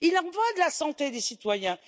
Il en va de la santé des citoyens.